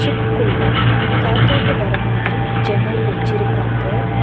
ட்க்குள்ள காத்தோட்டோ வர மாதிரி ஜன்னல் வெச்சிருக்காங்க.